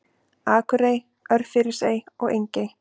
Akurey, Örfirisey og Engey.